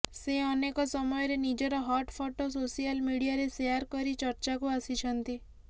ସେ ଅନେକ ସମୟରେ ନିଜର ହଟ୍ ଫଟୋ ସୋସିଆଲ୍ ମିଡିଆରେ ସେଆର୍ କରି ଚର୍ଚ୍ଚାକୁ ଆସିଛନ୍ତି